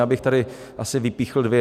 Já bych tady asi vypíchl dvě.